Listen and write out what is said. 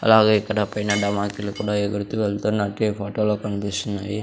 అలాగే ఇక్కడ పైన డామాకిలు కూడా ఎగురుతూ వెళ్తున్నట్టు ఈ ఫోటోలో కన్పిస్తున్నాయి.